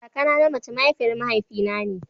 Kakana na mace mahaifiyar mahaifi na ne.